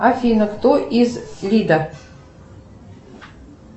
афина кто из лида